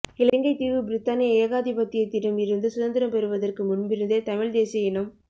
இலங்கைத் தீவு பிரித்தானிய ஏகாதிபத்தியத்திடம் இருந்து சுதந்திரம் பெறுவதற்கு முன்பிருந்தே தமிழ் தேசிய இனம்